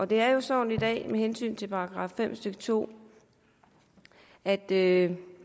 det er jo sådan i dag med hensyn til § fem stykke to at det